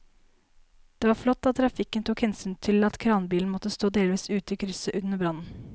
Det var flott at trafikken tok hensyn til at kranbilen måtte stå delvis ute i krysset under brannen.